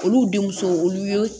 Olu denmuso olu ye